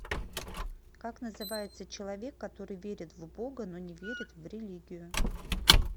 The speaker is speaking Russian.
как называется человек который верит в бога но не верит в религию